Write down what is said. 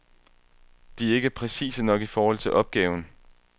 De er ikke præcise nok i forhold til opgaven.